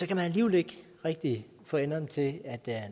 kan alligevel ikke rigtig få enderne til at